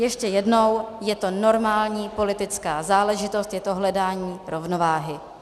Ještě jednou, je to normální politická záležitost, je to hledání rovnováhy.